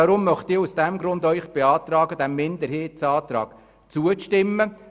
Deshalb beantrage ich Ihnen, diesem Minderheitsantrag zuzustimmen.